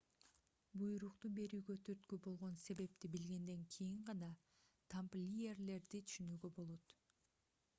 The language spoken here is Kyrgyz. буйрукту берүүгө түрткү болгон себепти билгенден кийин гана тамплиерлерди түшүнүүгө болот